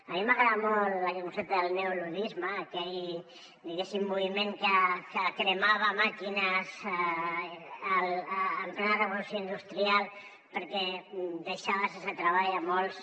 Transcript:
a mi m’agrada molt aquest concepte del neoluddisme aquell moviment que cremava màquines en plena revolució industrial perquè deixava sense treball molts